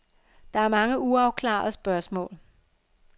Der er mange uafklarede spørgsmål.